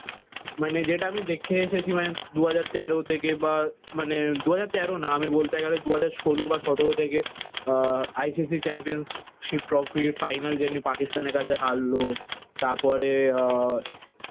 মানে যেটা আমি দেখে এসেছি মানে দু হাজার তেরো থেকে বা মানে দু হাজার তেরো না আমি বলতে গেলে দু হাজার ষোলো বা সতেরো থেকে আহ ICC championship trophy final যেমনি পাকিস্তানের কাছে হারলো। তারপরে আহ